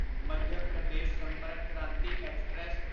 Madhya Pradesh Sampark Kranti express